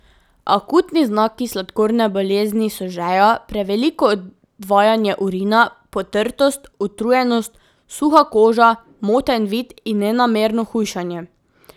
Akutni znaki sladkorne bolezni so žeja, preveliko odvajanje urina, potrtost, utrujenost, suha koža, moten vid in nenamerno hujšanje.